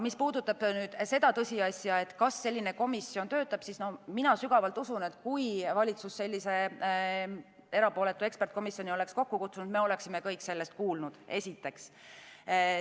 Mis puudutab tõsiasja, kas selline komisjon töötab, siis mina sügavalt usun, et kui valitsus sellise erapooletu eksperdikomisjoni oleks kokku kutsunud, siis me oleksime kõik sellest kuulnud, esiteks.